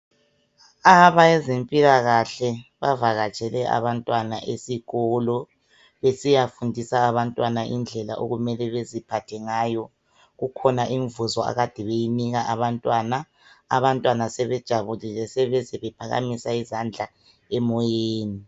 Abezempilakahle bavakatshele abantwana esikolo besiyafundisa abantwana indlela okumele baziphathe ngayo kukhona imvuzo akade beyinika abantwana abantwana sebejabulile sebeze bephakamisa izandla emoyeni.